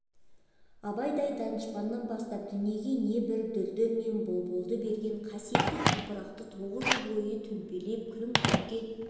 абайдай данышпаннан бастап дүниеге не бір дүлдүл мен бұлбұлды берген қасиетті топырақты отыз жыл бойы төпелеп күлің көкке